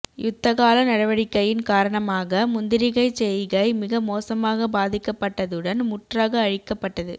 யுத்தகால நடவடிக்கையின் காரணமாக முந்திரிகைச்செய்கை மிக மோசமாக பாதிக்கப்பட்டதுடன் முற்றாக அழிக்கப்பட்டது